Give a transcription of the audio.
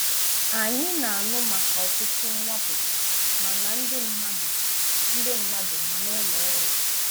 Ányị na-ànụ maka ọ̀tụtụ̀ m̀wàkpọ ma nà ndị mmadụ ndị mmadụ ma n’ụlọ ọrụ.